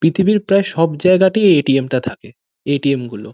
পৃথিবীর প্রায় সব জায়গাতেই এই এটিএম টা থাকে এটিএম গুলো।